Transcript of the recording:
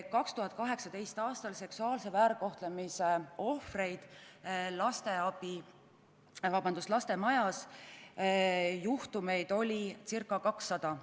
2018. aastal oli seksuaalse väärkohtlemise ohvreid Lastemajas ca 200.